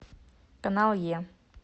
канал е